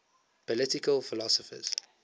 political philosophers